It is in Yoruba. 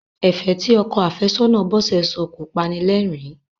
Ẹ̀fẹ̀ tí ọkọ àfẹ́sọ́nà Bọ́sẹ̀ sọ kọ panilẹ́rìn-ín.